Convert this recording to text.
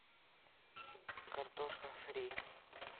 картошка фри